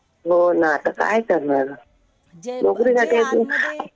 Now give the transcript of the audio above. हो ना. आता काय करणार. नोकरीसाठी